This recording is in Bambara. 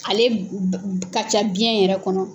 Ale ka ca biyɛn yɛrɛ kɔnɔ.